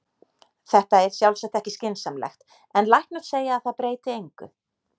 Þetta er sjálfsagt ekki skynsamlegt, en læknar segja að það breyti engu.